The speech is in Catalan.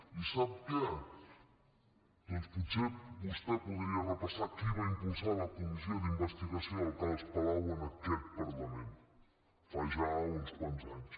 i sap què doncs potser vostè podria repassar qui va impulsar la comissió d’investigació del cas palau en aquest parlament fa ja uns quants anys